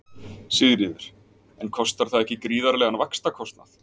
Sigríður: En kostar það ekki gríðarlegan vaxtakostnað?